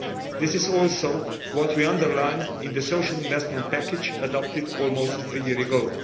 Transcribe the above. This is also what we underline in the social investment package adopted almost a year ago.